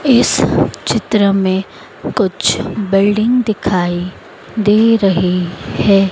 इस चित्र में कुछ बिल्डिंग दिखाई दे रही है।